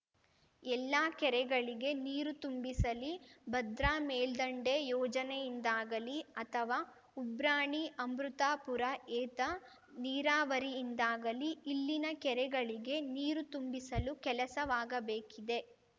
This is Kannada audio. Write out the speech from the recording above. ಎಲ್ಲ ಕೆರೆಗಳಿಗೆ ನೀರು ತುಂಬಿಸಲಿ ಭದ್ರಾ ಮೇಲ್ದಂಡೆ ಯೋಜನೆಯಿಂದಾಗಲಿ ಅಥವಾ ಉಬ್ರಾಣಿ ಅಮೃತಾಪುರ ಏತ ನೀರಾವರಿಯಿಂದಾಗಲಿ ಇಲ್ಲಿನ ಕೆರೆಗಳಿಗೆ ನೀರು ತುಂಬಿಸಲು ಕೆಲಸವಾಗಬೇಕಿದೆ